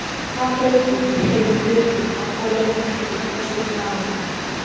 Hvaða breyting hefur verið björgunar- og leitartækni á síðustu árum?